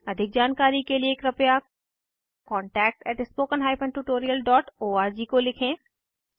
अधिक जानकारी कर लिए कृपया contactspoken tutorialorg को लिखें